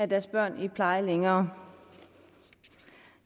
deres børn i pleje længere